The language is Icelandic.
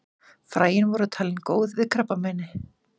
Fræin voru talin góð við krabbameini.